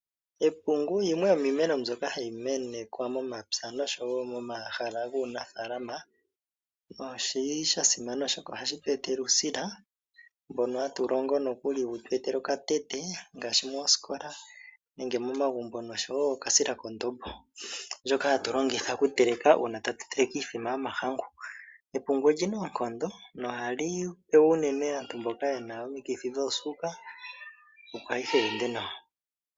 Epungu yimwe yomiimeno mbyoka hayi menekwa momapya noshowo moamhala guunafaalama nosha simana, oshoka ohashi tu etele uusila mboka hatu longo nokuli wu tu etele okatete ngaashi moosikola nenge momagumbo, noshowo oksila kondombo ndjoka hatu longitha okuteleka uuna tatu teleke iimbombo yomahangu. Epungu oli na oonkondo nohali pewa unene aantu mboka ye na uuvu wosuuka, opo ayihe yi ende nawa.